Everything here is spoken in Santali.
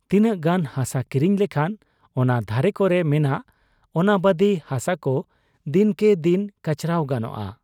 ᱛᱤᱱᱟᱹᱜ ᱜᱟᱱ ᱦᱟᱥᱟ ᱠᱤᱨᱤᱧ ᱞᱮᱠᱷᱟᱱ ᱚᱱᱟ ᱫᱷᱟᱨᱮ ᱠᱚᱨᱮ ᱢᱮᱱᱟᱜ ᱚᱱᱟᱵᱟᱫᱤ ᱦᱟᱥᱟᱠᱚ ᱫᱤᱱᱠᱮ ᱫᱤᱱ ᱠᱟᱪᱨᱟᱣ ᱜᱟᱱᱚᱜ ᱟ ᱾